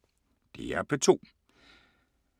DR P2